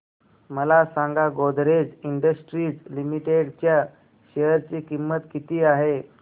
मला सांगा Godrej industries limited च्या शेअर ची किंमत किती आहे